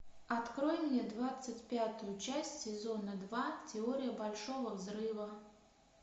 открой мне двадцать пятую часть сезона два теория большого взрыва